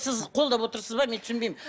сіз қолдап отырсыз ба мен түсінбеймін